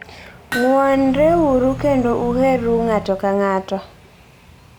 Ng'wonreuru kendo uherru ng'ato ka ng'ato.